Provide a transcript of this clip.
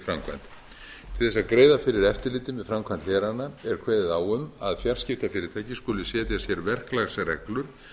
framkvæmd til þess að greiða fyrir eftirliti með framkvæmd hlerana er kveðið á um að fjarskiptafyrirtæki skuli setja sér verklagsreglur